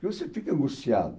Porque você fica angustiado.